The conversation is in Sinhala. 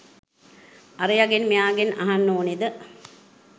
අරයගෙන් මෙයාගෙන් අහන්න ඕනෙද?